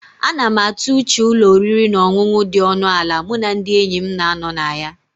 A na m atụ uche ụlọ oriri na ọṅụṅụ dị ọnụ ala mụ na ndị enyi m na-anọ na ya